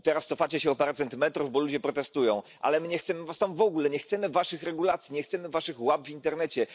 Teraz cofacie się o parę centymetrów, bo ludzie protestują, ale my nie chcemy was tam w ogóle, nie chcemy waszych regulacji, nie chcemy waszych łap w internecie.